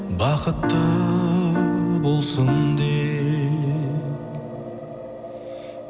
бақытты болсын деп